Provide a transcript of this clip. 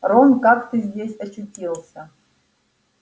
рон как ты здесь очутился